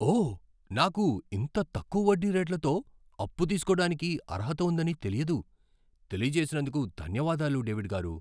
ఓ! నాకు ఇంత తక్కువ వడ్డీ రేట్లతో అప్పు తీసుకోడానికి అర్హత ఉందని తెలియదు. తెలియజేసినందుకు ధన్యవాదాలు, డేవిడ్ గారూ.